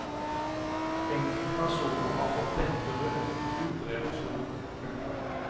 Enkelte personer har fått lettere hudreaksjon. punktum